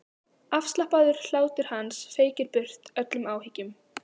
Afslappaður hlátur hans feykir burt öllum áhyggjum.